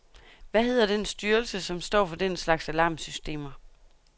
Hvad hedder den styrelse, som står for den slags alarmsystemer?